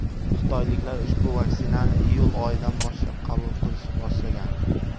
Xitoyliklar ushbu vaksinani iyul oyidan boshlab qabul qilishni boshlagan.